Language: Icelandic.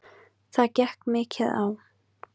Það gekk mikið á.